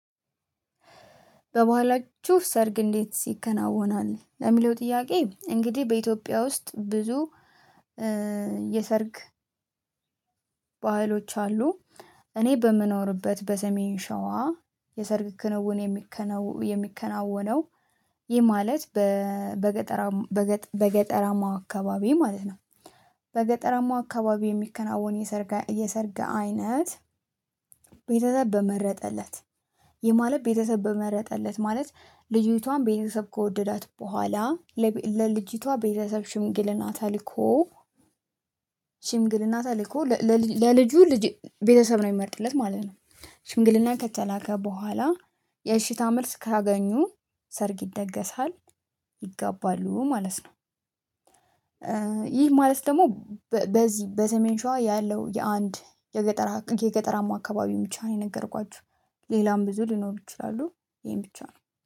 ባህላችሁ ሰርግ እንዴት ይከናወናል ለሚለው ጥያቄ እንግዲህ በኢትዮጵያ ውስጥ ብዙ የሰርግ ባህሎች አሉ። እኔ በምኖርበት በሰሜን ሸዋ የሰርግ ክንውን የሚከነው የሚከናወነው ይህ ማለት በገጠራማ በገጠራማ አካባቢ ማለት ነው። በገጠራማው አካባቢ የሚከናወን የሰርግ የሰርግ አይነት ቤተሰብ በመረጠለት ይህ ማለት ቤተሰብ በመረጠለት ማለት ልጅቷን ቤተሰብ ከወደዳት በኋላ ለልጅቷ ቤተሰብ ሽምግልና ተልኮ። ሽምግልና ተልኮ ለልጁ ልጅ ቤተሰብ ነው የሚመርጥለት ማለት ነው። ሽንግልና ከተላከ በኋላ የእሺታ መልስ ካገኙ ሰርግ ይደገሳል ይጋባሉ ማለት ነው። ይህ ማለት ደግሞ በዚህ በሰሜን ሸዋ ያለው የአንድ የገጠራ የገጠራም አካባቢው ብቻ ነው የነገርኳችሁ። ሌላም ብዙ ሊኖሩ ይችላሉ ይሄን ብቻ ነው